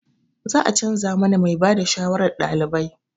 Za a canza mana mai ba da shawarar ɗalibai.